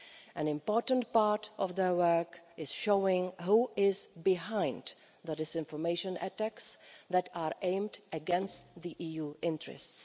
An important part of their work is showing who is behind the disinformation attacks that are aimed against EU interests.